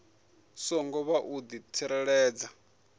songo vha u di tsireledza